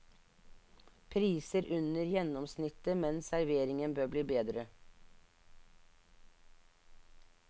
Priser under gjennomsnittet, men serveringen bør bli bedre.